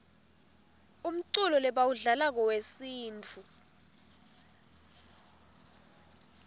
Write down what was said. umculo lebawudlalako wesintfu